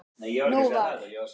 Nú var